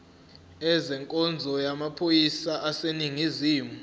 ezenkonzo yamaphoyisa aseningizimu